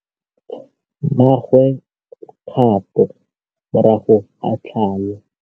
Mmagwe o kgapô morago ga tlhalô.